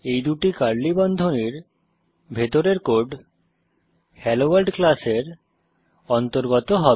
এই দুই কার্লি বন্ধনীর ভিতরের কোড হেলোভোর্ল্ড ক্লাসের অন্তর্গত হবে